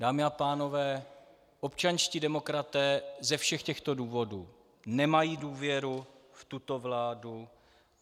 Dámy a pánové, občanští demokraté ze všech těchto důvodů nemají důvěru v tuto vládu.